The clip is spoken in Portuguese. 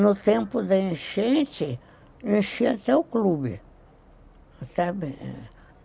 No tempo da enchente, enchia até o clube, sabe